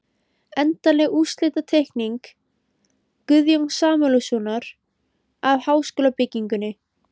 Endanleg útlitsteikning Guðjóns Samúelssonar af háskólabyggingunni.